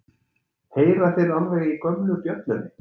Heyra þeir alveg í gömlu bjöllunni?